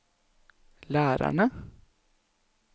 lærerne